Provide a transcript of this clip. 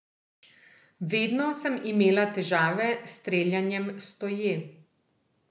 Vedno sem imela težave s streljanjem stoje.